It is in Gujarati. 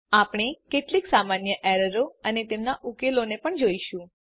આપણે કેટલીક સામાન્ય એરરો અને તેમનાં ઉકેલોને પણ જોઈશું